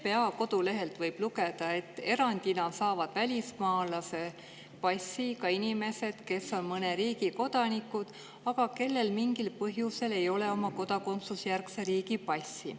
PPA kodulehelt võib lugeda, et erandina saavad välismaalase passi ka inimesed, kes on mõne riigi kodanikud, aga kellel mingil põhjusel ei ole oma kodakondsusjärgse riigi passi.